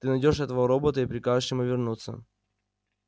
ты найдёшь этого робота и прикажешь ему вернуться